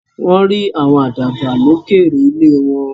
Wọ́n rí àwọn àdàbà lókèèrè ilé wọn.